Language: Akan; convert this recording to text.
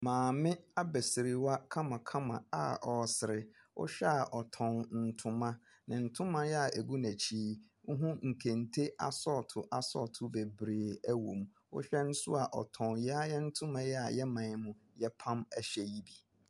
Maame abasirwa a ɔresere, wohwɛ a ɔtɔn ntoma. Ne ntoma a agu n’akyi no, wohu nkente asɔɔto asɔɔto wɔm. Wohwɛ nso ɔtɔn yɛn ara yɛn ntoma a yɛman yi mu yɛpam hyɛ yi bi.